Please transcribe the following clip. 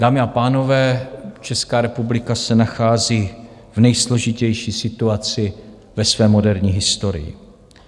Dámy a pánové, Česká republika se nachází v nejsložitější situaci ve své moderní historii.